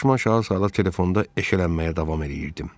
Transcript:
Başıma aşağı salıb telefonda eşələnməyə davam eləyirdim.